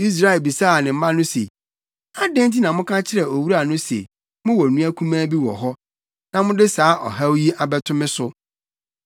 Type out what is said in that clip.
Israel bisaa ne mma no se, “Adɛn nti na moka kyerɛɛ owura no se mowɔ nua kumaa bi wɔ hɔ, na mode saa ɔhaw yi abɛto me so?”